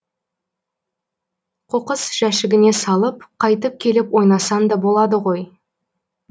қоқыс жәшігіне салып қайтып келіп ойнасаң да болады ғой